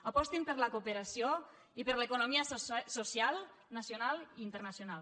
apostin per la cooperació i per l’economia social nacional i internacional